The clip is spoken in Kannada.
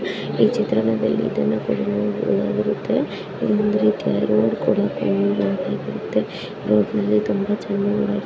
ಈ ಚಿತ್ರಣದಲ್ಲಿ ಇದನ್ನು ಕೂಡ ನಾವು ನೋಡಬಹುದಾಗಿರುತ್ತೆ ಇದೊಂದು ರೀತಿಯಾದ ರೋಡ್ ಕೂಡ ಕಂಡು ಬರುತ್ತಿದೆ. ರೋಡ್ ನಲ್ಲಿ ತುಂಬಾ ಜನ ಓಡಾಡ್ --